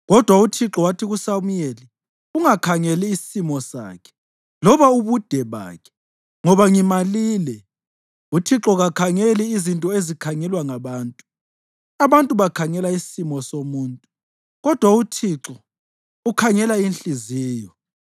Kodwa uThixo wathi kuSamuyeli, “Ungakhangeli isimo sakhe loba ubude bakhe, ngoba ngimalile. Uthixo kakhangeli izinto ezikhangelwa ngabantu. Abantu bakhangela isimo somuntu, kodwa uThixo ukhangela inhliziyo.”